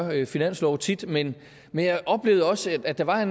finanslove tit men men jeg oplevede også at der var